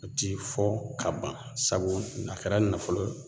A ti fɔ ka ban sabu a kɛra nafolo ye